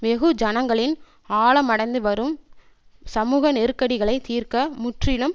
வெகுஜனங்களின் ஆழமடைந்துவரும் சமூக நெருக்கடிகளை தீர்க்க முற்றிலும்